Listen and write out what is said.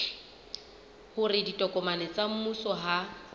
hore ditokomane tsa mmuso ha